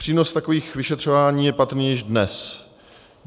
Přínos takových vyšetřování je patrný již dnes.